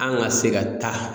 An ka se ka taa